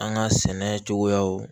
An ka sɛnɛ cogoyaw